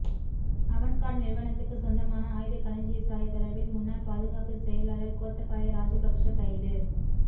Avangard நிறுவனத்துக்கு சொந்தமான ஆயுத களஞ்சியசாலை தொடர்பில் முன்னாள் பாதுகாப்பு செயலாளர் கோத்தபாய ராஜபக்ஸ கைது